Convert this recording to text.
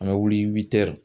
An bɛ wuli